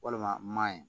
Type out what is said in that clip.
Walima maa ye